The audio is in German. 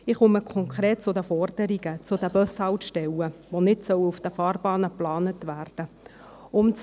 Ich komme konkret zu den Forderungen: zu den Bushaltestellen, die nicht auf den Fahrbahnen geplant werden sollen.